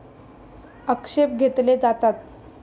आक्षेप घेतले जातात.